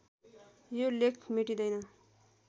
यो लेख मेटिँदैन